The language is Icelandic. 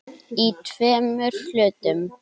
Í tveimur hlutum.